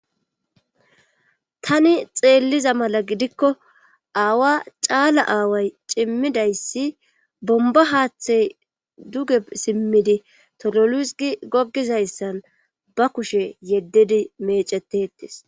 tani xeelliza mala gidikko aawa caala aaway cimmidayssi bomba haaththey duge simmidi tololus gi goggizayssan ba kushe yeddidi mecetetes